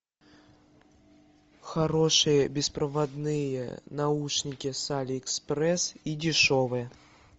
хорошие беспроводные наушники с алиэкспресс и дешевые